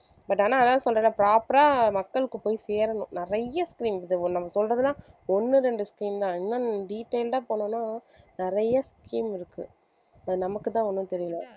but ஆனா அதான் சொல்றனே proper ஆ மக்களுக்கு போய் சேரணும் நிறைய scheme இருக்கு இது நம்ம சொல்றதெல்லாம் ஒண்ணு ரெண்டு scheme தான் இன்னும் detailed ஆ போனோம்னா நிறைய scheme இருக்கு அது நமக்குதான் ஒண்ணும் தெரியலே